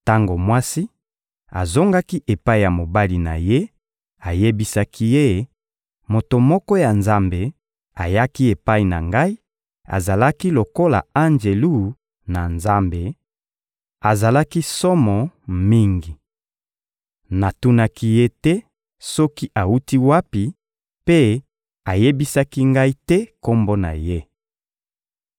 Tango mwasi azongaki epai ya mobali na ye, ayebisaki ye: «Moto moko ya Nzambe ayaki epai na ngai, azalaki lokola Anjelu na Nzambe: azalaki somo mingi. Natunaki ye te soki awuti wapi, mpe ayebisaki ngai te kombo na ye.